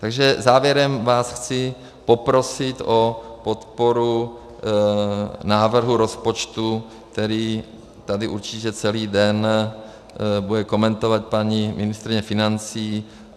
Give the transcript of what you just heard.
Takže závěrem vás chci poprosit o podporu návrhu rozpočtu, který tady určitě celý den bude komentovat paní ministryně financí.